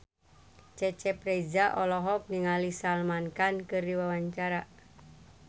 Cecep Reza olohok ningali Salman Khan keur diwawancara